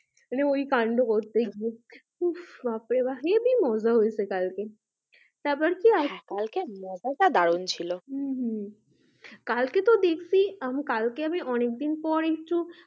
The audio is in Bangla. মানে ওই কান্ড হচ্ছে দিয়ে উহ বাপরে বাপ্ হেবি মজা হয়েছে কালকে তারপর কি কালকে মজাটা দারুন ছিল হম হম কালকে তো দেখছি আমি কালকে তো আমি অনেকদিন পরে একটু,